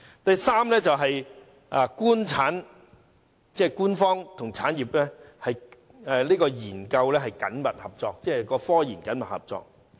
第三方面，是官方和產業研究緊密合作，即科研緊密合作。